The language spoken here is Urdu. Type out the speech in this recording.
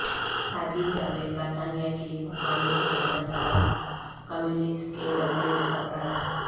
ساجد جاوید برطانیہ کی مقامی حکومت اور کمیونٹیز کے وزیر مقرر